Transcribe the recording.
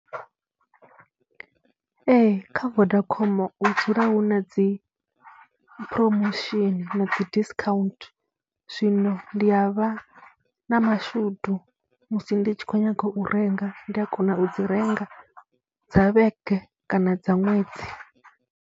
Ee, kha Vodacom hu dzula hu na dzi promotion na dzi discount, zwino ndi a vha na mashudu musi ndi tshi khou nyaga u renga, ndi a kona u dzi renga dza vhege kana dza ṅwedzi.